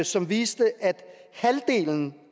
som viste at halvdelen